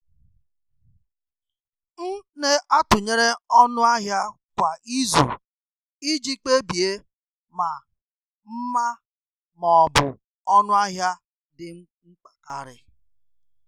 M na-atụnyere ọnụ ahịa kwa izu iji kpebie ma mma ma ọ bụ ọnụ ahịa dị mkpa karị.